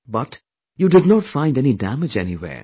But, you did not find any damage anywhere